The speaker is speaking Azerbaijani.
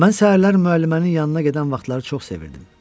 Mən səhərlər müəllimənin yanına gedən vaxtları çox sevirdim.